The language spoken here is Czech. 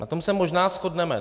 Na tom se možná shodneme.